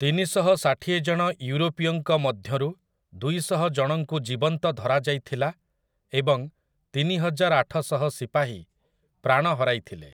ତିନିଶହଷାଠିଏ ଜଣ ୟୁରୋପୀୟଙ୍କ ମଧ୍ୟରୁ ଦୁଇଶହ ଜଣଙ୍କୁ ଜୀବନ୍ତ ଧରାଯାଇଥିଲା ଏବଂ ତିନିହଜାରଆଠଶହ ସିପାହୀ ପ୍ରାଣ ହରାଇଥିଲେ ।